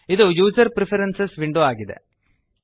ಇದು user preferences window ಆಗಿದೆ